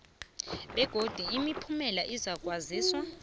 begodu imiphumela izakwaziswa